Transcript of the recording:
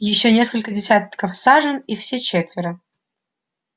ещё несколько десятков сажен и все четверо